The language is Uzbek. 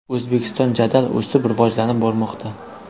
O‘zbekiston jadal o‘sib, rivojlanib bormoqda!